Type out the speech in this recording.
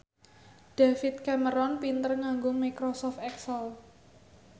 David Cameron pinter nganggo microsoft excel